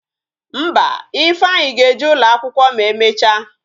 Mba, Ifeanyi ga-eje ụlọ akwụkwọ ma emecha